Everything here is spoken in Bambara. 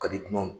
Ka di dunanw